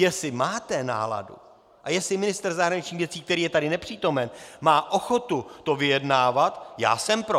Jestli máte náladu a jestli ministr zahraničních věcí, který je tu nepřítomen, má ochotu to vyjednávat, já jsem pro.